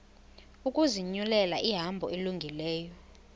ukuzinyulela ihambo elungileyo